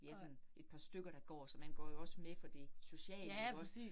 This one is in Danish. Vi er sådan et par stykker, der går, så men går jo også med for det sociale ikke også